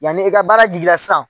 Yan ni ka baara jiginna sisan